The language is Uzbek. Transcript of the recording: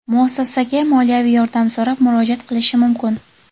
muassasaga moliyaviy yordam so‘rab murojaat qilishi mumkin.